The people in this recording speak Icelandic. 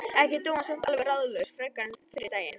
Ekki dó hann samt alveg ráðalaus frekar en fyrri daginn.